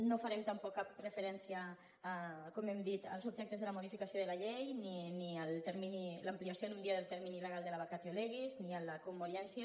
no farem tampoc cap referència com hem dit als objectes de la modificació de la llei ni a l’ampliació en un dia del termini legal de la vacatio legis ni a la commoriència